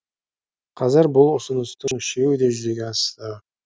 қазір бұл ұсыныстың үшеуі де жүзеге асты